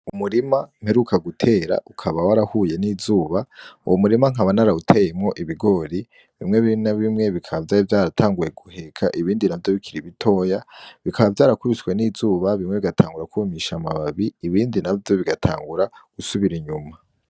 Umurima mperuka gutera ukaba warahuye n'izuba uwu murima nkabanarawuteyemwo ibigori bimwe birina bimwe bikaba vyari vyaratanguye guheka ibindi na vyo bikira ibitoya bikaba vyarakubishwe n'izuba bimwe bigatangura kwumisha amababi ibindi na vyo bigatangura gusubira inyuma.